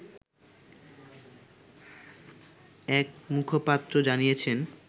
এক মুখপাত্র জানিয়েছেন